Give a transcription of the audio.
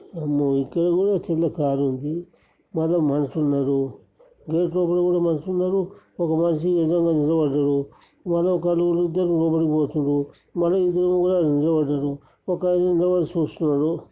అమ్మో ఇక్కడ కూడా చిన్న కార్ ఉంది వాటిలో మనుషులున్నారు. గేట్ లోపల కూడా మనుషులున్నారు. ఒక మనిషి నిలబడాడు మల్ల ఒక ఇద్దరు లోపలి పోతున్నారు. మల్ల ఇద్దరు కూడా నిలబడ్డారు ఒకలు నిబడి సుస్తున్నారు.